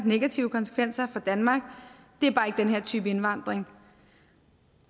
negative konsekvenser for danmark det er bare ikke den her type indvandring